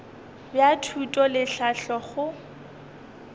bja thuto le tlhahlo go